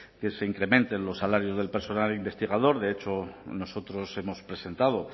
que se incrementen los salarios del personal investigador de hecho nosotros hemos presentado